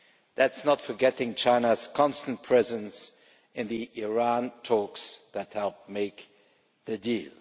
That is not forgetting China's constant presence in the Iran talks that helped make the deal.